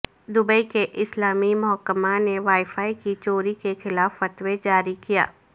Dubai کے اسلامی محکمہ نے وائی فائی کی چوری کے خلاف فتوی جاری کیا